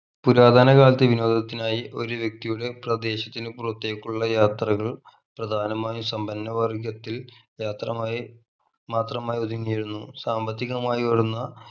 പുരാതന കാലത്തെ വിനോദത്തിനായി ഒരു വ്യക്തിയുടെ പ്രദേശത്തിനു പുറത്തേക്കുള്ള യാത്രകൾ പ്രധാനമായും സമ്പന്നവർഗത്തിൽ യാത്രമായി മാത്രമായി ഒതുങ്ങിയിരുന്നു സാമ്പത്തികമായി ഉയർന്ന